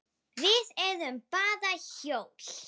Við erum bara hjól.